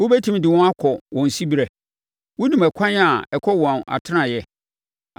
Wobɛtumi de wɔn akɔ wɔn siberɛ? Wonim akwan a ɛkɔ wɔn atenaeɛ?